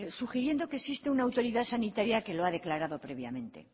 sugiriendo que existe una autoridad sanitaria que lo ha declarado previamente